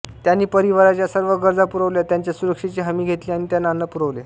त्यांनी परिवाराच्या सर्व गरजा पुरवल्या त्यांच्या सुरक्षेची हमी घेतली आणि त्यांना अन्न पुरवले